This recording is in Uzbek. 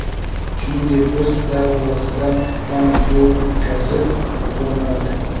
Shuningdek, o‘z darvozasidan ham gol o‘tkazib yubormadi.